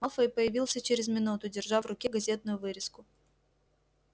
малфой появился через минуту держа в руке газетную вырезку